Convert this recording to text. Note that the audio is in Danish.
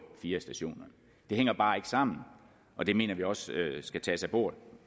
fire stationer det hænger bare ikke sammen og det mener vi også skal tages af bordet